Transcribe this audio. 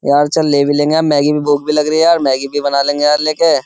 यार चल ले भी लेंगे हम मैगी भी भूख भी लग रही है यार मैगी भी बना लेंगे यार लेके।